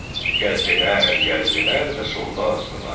Gəzdilər, gəzdilər və sonda azdılar.